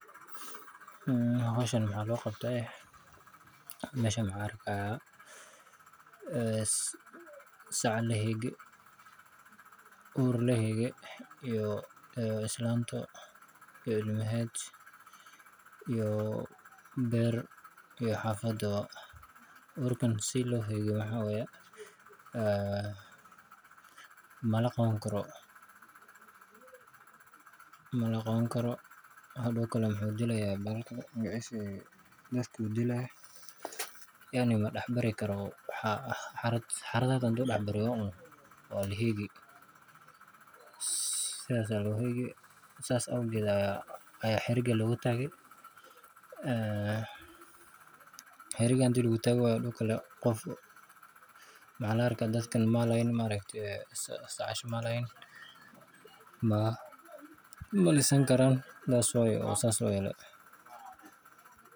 Ee hoshan waxaa lo qabtaa, ee meeshan waxan arkaahaya ee saac lahegee, oor lahege iyo islaanto iyo ilmaaheed, iyo beer iyo xafado, orkaan sii lo hegee waxaa wayee, ee malaqawan karo, hadow kalee wuxuu diilayaa daadka dilaa, xaradada haduu dax baryo waa lahegii, sas awgedaa ayaa xirigaa logu tagee, ee xiriga hadii lagu tagii wayoo mxaa laarkaa inu maaragtee dadka sacashaa malisan kaaran, that is why o sas loyeele.